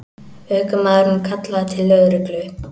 Ökumaðurinn kallaði til lögreglu